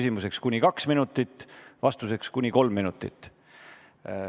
Küsimuseks on aega kuni kaks minutit, vastuseks kuni kolm minutit.